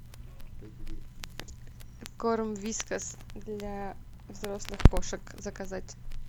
корм вискас для взрослых кошек заказать